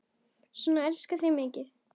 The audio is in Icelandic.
Svona elska ég þig mikið.